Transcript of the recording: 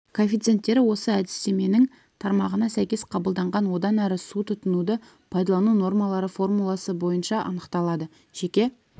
коэффициенттері осы әдістеменің тармағына сәйкес қабылданған одан әрі су тұтынуды пайдалану нормалары формуласы бойынша анықталады жеке